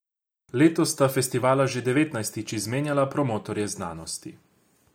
Letos sta festivala že devetnajstič izmenjala promotorje znanosti.